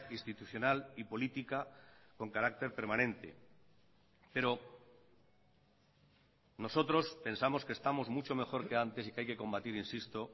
institucional y política con carácter permanente pero nosotros pensamos que estamos mucho mejor que antes y que hay que combatir insisto